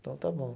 Então está bom.